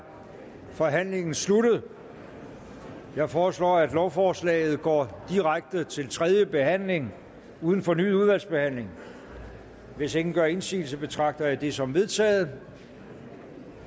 forhandlingen sluttet jeg foreslår at lovforslaget går direkte til tredje behandling uden fornyet udvalgsbehandling hvis ingen gør indsigelse betragter jeg dette som vedtaget